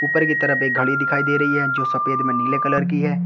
ऊपर कि तरफ़ एक घड़ी दिखाई दे रही है जो सफेद में नीले कलर कि है।